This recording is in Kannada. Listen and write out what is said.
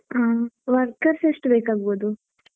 ಹಾ workers ಎಷ್ಟು ಬೇಕಾಗಬೋದು?